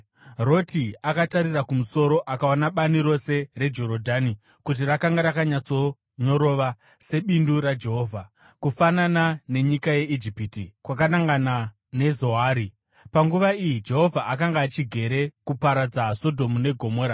Roti akatarira kumusoro akaona bani rose reJorodhani kuti rakanga rakanyatsonyorova, sebindu raJehovha, kufanana nenyika yeIjipiti, kwakanangana neZoari. (Panguva iyi Jehovha akanga achigere kuparadza Sodhomu neGomora.)